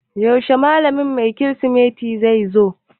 Yaushe malamin kemistry zai zo?